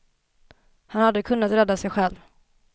Han hade kunnat rädda sig själv.